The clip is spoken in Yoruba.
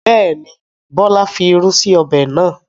Bẹ́ẹ̀ni, Bọlá fi irú sí ọbẹ̀ náà.